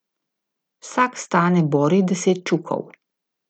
Vsak stane borih deset čukov.